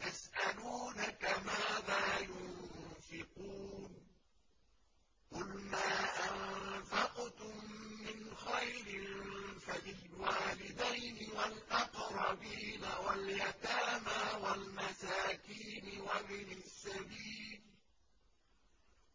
يَسْأَلُونَكَ مَاذَا يُنفِقُونَ ۖ قُلْ مَا أَنفَقْتُم مِّنْ خَيْرٍ فَلِلْوَالِدَيْنِ وَالْأَقْرَبِينَ وَالْيَتَامَىٰ وَالْمَسَاكِينِ وَابْنِ السَّبِيلِ ۗ